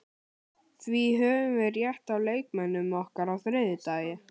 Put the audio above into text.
Því höfum við rétt á leikmönnum okkar á þriðjudag.